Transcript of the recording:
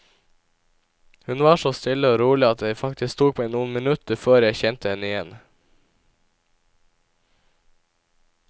Hun var så stille og rolig at det faktisk tok meg noen minutter før jeg kjente henne igjen.